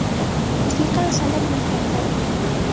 Musiqa va san’at maktabida o‘qiydi.